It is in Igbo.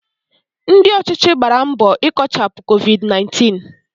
Ndị ọchịchị gbàrà mbọ ikochapu Covid 19